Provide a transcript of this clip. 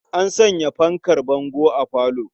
An sanya fankar bango a falo.